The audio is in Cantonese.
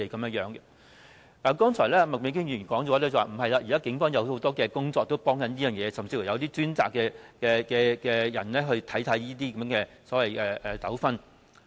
剛才麥美娟議員說現時警方也做了不少的工作和提供幫助，甚至亦有專責的人員負責處理這類糾紛。